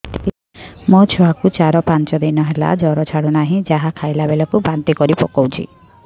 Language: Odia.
ମୋ ଛୁଆ କୁ ଚାର ପାଞ୍ଚ ଦିନ ହେଲା ଜର ଛାଡୁ ନାହିଁ ଯାହା ଖାଇଲା ବେଳକୁ ବାନ୍ତି କରି ପକଉଛି